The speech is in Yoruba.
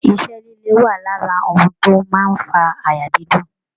Iṣẹ́ líle wà lára ohun tó máa ń fa àyà dídùn